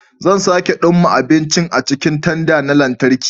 Zan sake dumma abincin a cikin tanda na lantarki.